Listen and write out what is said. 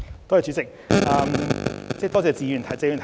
代理主席，多謝謝議員的提問。